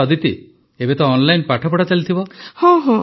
ଆଚ୍ଛା ଅଦିତି ଏବେ ତ ଅନଲାଇନ୍ ପାଠପଢ଼ା ଚାଲିଥିବ